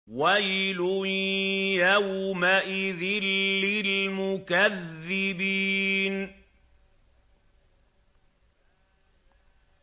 وَيْلٌ يَوْمَئِذٍ لِّلْمُكَذِّبِينَ